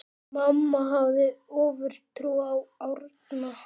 Mamma hafði ofurtrú á Árna.